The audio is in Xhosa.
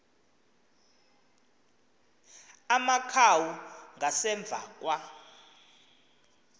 amakhawu ngasemva kwa